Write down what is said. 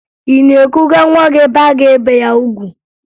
Ị na-ekuga nwa gị ebe a ga-ebe ya ugwu?